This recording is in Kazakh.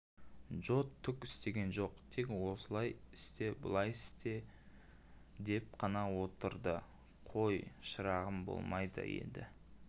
джо түк істеген жоқ тек олай істе бұлай ет деп қана отырдықой шырағым болмайды енд